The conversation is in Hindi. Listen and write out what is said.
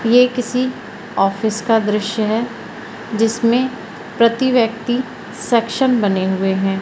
ये किसी ऑफिस का दृश्य है जिसमें प्रति व्यक्ति सेक्शन बने हुए हैं।